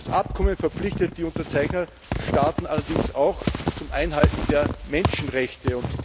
Das Abkommen verpflichtet die Unterzeichnerstaaten allerdings auch zur Einhaltung der Menschenrechte.